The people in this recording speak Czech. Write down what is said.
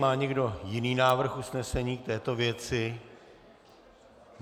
Má někdo jiný návrh usnesení k této věci?